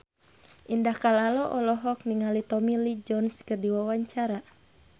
Indah Kalalo olohok ningali Tommy Lee Jones keur diwawancara